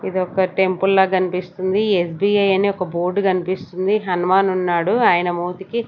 ఇదొక టెంపుల్ లా కనిపిస్తుంది ఎస్_బి_ఐ అనే ఒక బోర్డు కనిపిస్తుంది హనుమాన్ ఉన్నాడు ఆయన మోతికి.